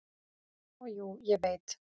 """Og jú, ég veit."""